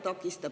Aitäh!